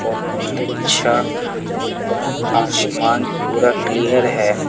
बहोत अच्छा ऊपर आसमान पूरा क्लियर है।